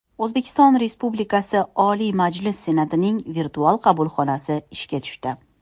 O‘zbekiston Respublikasi Oliy Majlis Senatining virtual qabulxonasi ishga tushdi .